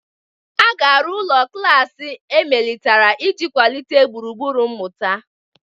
A ga-arụ ụlọ klas emelitere iji kwalite gburugburu mmụta.